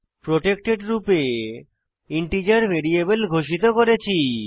protected রূপে integer variable ঘোষিত করেছি